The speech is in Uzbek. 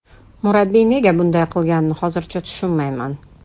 Murabbiy nega bunday qilganini hozirgacha tushunmayman.